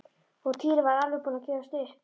Og Týri var alveg búinn að gefast upp.